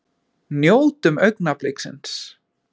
Njótum augnabliksins!